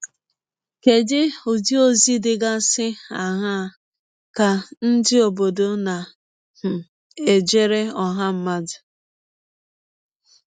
Kedụ Ụdị ọzi dịgasị aṅaa ka ndị ọbọdọ na um - ejere ọha mmadụ?